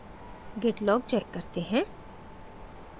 git log check करते हैं